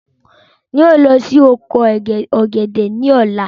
Ń ó lọ síí oko ọ̀gẹ̀dẹ̀ ni ọ̀la.